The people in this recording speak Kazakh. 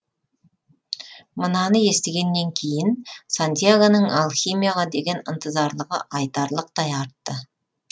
мынаны естігеннен кейін сантьягоның алхимияға деген ынтызарлығы айтарлықтай артты